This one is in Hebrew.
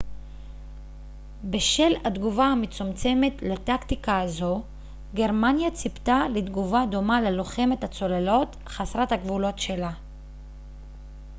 בשל התגובה המצומצמת לטקטיקה הזו גרמניה ציפתה לתגובה דומה ללוחמת הצוללות חסרת הגבולות שלה